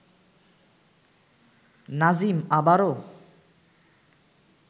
নাজিম আবারও